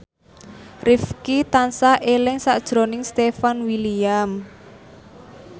Rifqi tansah eling sakjroning Stefan William